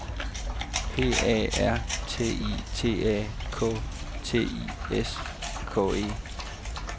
P A R T I T A K T I S K E